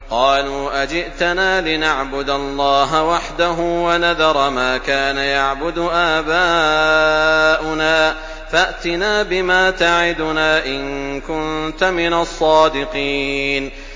قَالُوا أَجِئْتَنَا لِنَعْبُدَ اللَّهَ وَحْدَهُ وَنَذَرَ مَا كَانَ يَعْبُدُ آبَاؤُنَا ۖ فَأْتِنَا بِمَا تَعِدُنَا إِن كُنتَ مِنَ الصَّادِقِينَ